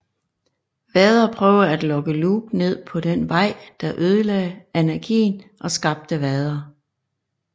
Vader prøver at lokke Luke ned på den vej der ødelage Anakin og skabte Vader